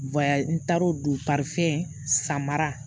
n taar'o don sa mara